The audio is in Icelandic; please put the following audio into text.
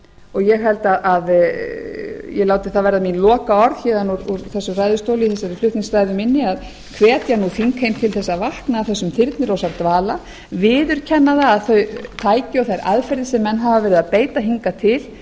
og ég held að ég láti það verða mín lokaorð héðan úr þessum ræðustóli í þessari flutningsræðu minni að hvetja nú þingheim til þess að vakna af þessum þyrnirósardvala viðurkenna að þau tæki og þær aðferðir sem menn hafa verið að beita hingað til